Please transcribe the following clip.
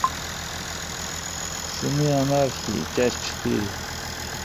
сыны анархии часть четыре